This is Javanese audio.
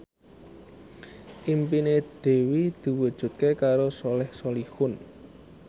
impine Dewi diwujudke karo Soleh Solihun